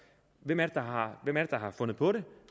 hvem er det der har fundet på det